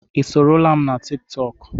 Ị soro m na tiktok?